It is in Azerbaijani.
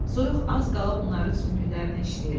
Soyuq az qala onların sümüklərinə işləyirdi.